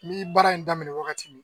Mi baara in daminɛ wagati min,